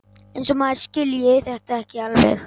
Eins og maður skilji þetta ekki alveg!